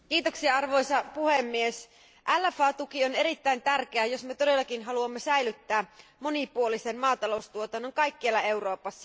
Arvoisa puhemies, LFA tuki on erittäin tärkeä, jos me todellakin haluamme säilyttää monipuolisen maataloustuotannon kaikkialla Euroopassa.